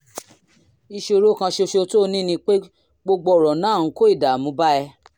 ìṣòro kan ṣoṣo tó o ní ni pé gbogbo ọ̀rọ̀ náà ń kó ìdààmú bá ẹ